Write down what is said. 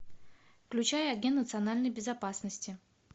включай агент национальной безопасности